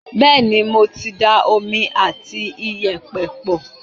bẹ́ẹ̀ni mo ti da omi àti iyẹ̀pẹ̀ pọ̀